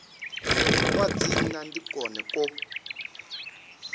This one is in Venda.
kwa dzina ndi kwone kwo